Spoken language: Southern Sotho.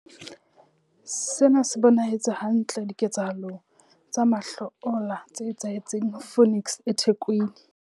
Sena se bonahetse hantle diketsahalong tsa mahlo ola tse etsahetseng Phoenix eThekwini.